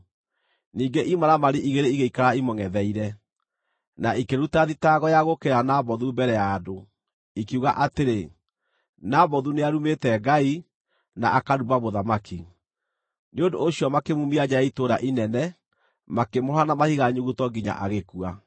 Ningĩ imaramari igĩrĩ igĩikara imũngʼetheire, na ikĩruta thitango ya gũũkĩrĩra Nabothu mbere ya andũ, ikiuga atĩrĩ, “Nabothu nĩarumĩte Ngai, na akaruma mũthamaki.” Nĩ ũndũ ũcio makĩmuumia nja ya itũũra inene, makĩmũhũũra na mahiga nyuguto nginya agĩkua.